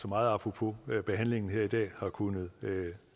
meget apropos behandlingen her i dag har kunnet